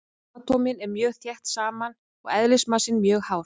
Atómin eru mjög þétt saman og eðlismassinn mjög hár.